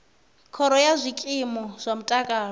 khoro ya zwikimu zwa mutakalo